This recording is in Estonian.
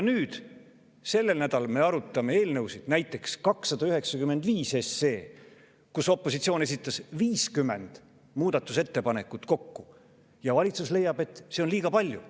Nüüd, sellel nädalal me arutame eelnõusid, näiteks 295 SE, mille kohta opositsioon esitas kokku 50 muudatusettepanekut, ja valitsus leiab, et seda on liiga palju.